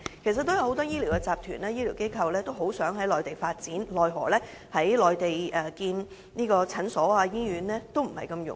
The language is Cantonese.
其實，有很多醫療集團及醫療機構均希望在內地發展，奈何在內地興建診所或醫院並不容易。